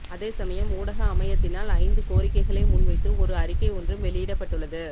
அதேசமயம் ஊடக அமையத்தினால் ஐந்து கோரிக்கைகளை முன் வைத்து ஒரு அறிக்கை ஒன்றும் வெளியிடப்பட்டுள்ளது